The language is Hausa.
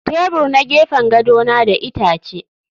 Tebur na gefen gado na da itace